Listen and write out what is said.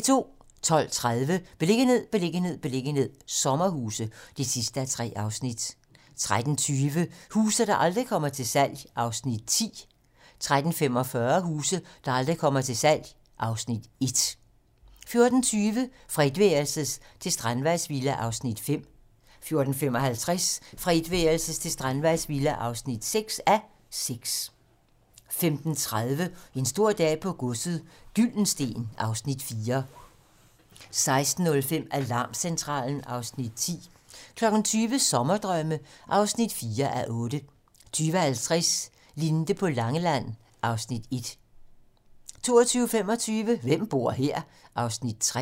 12:30: Beliggenhed, beliggenhed, beliggenhed - sommerhuse (3:3) 13:20: Huse, der aldrig kommer til salg (Afs. 10) 13:45: Huse, der aldrig kommer til salg (Afs. 1) 14:20: Fra etværelses til strandvejsvilla (5:6) 14:55: Fra etværelses til strandvejsvilla (6:6) 15:30: En stor dag på godset - Gyldensteen (Afs. 4) 16:05: Alarmcentralen (Afs. 10) 20:00: Sommerdrømme (4:8) 20:50: Linde på Langeland (Afs. 1) 22:25: Hvem bor her? (Afs. 3)